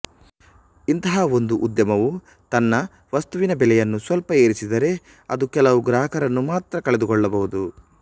ಇಂತಹ ಒಂದು ಉದ್ಯಮವು ತನ್ನ ವಸ್ತುವಿನ ಬೆಲೆಯನ್ನು ಸ್ವಲ್ಪ ಏರಿಸಿದರೆ ಅದು ಕೆಲವು ಗ್ರಾಹಕರನ್ನು ಮಾತ್ರ ಕಳೆದುಕೊಳ್ಳಬಹುದು